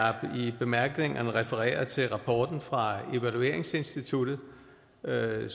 i bemærkningerne refereret til rapporten fra evalueringsinstituttet og jeg